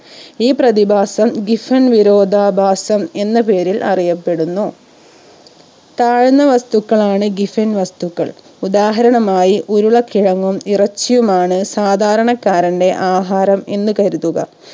ഈ പ്രതിഭാസം giffen വിരോധാഭാസം എന്ന പേരിൽ അറിയപ്പെടുന്നു താഴ്ന്ന വസ്തുക്കളാണ് Giffen വസ്തുക്കൾ ഉദാഹരണമായി ഉരുളക്കിഴങ്ങും ഇറച്ചിയിയുമാണ് സാധാരണക്കാരന്റെ ആഹാരം എന്ന് കരുതുക